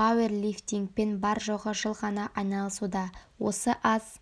пауэрлифтингпен бар-жоғы жыл ғана айналысуда осы аз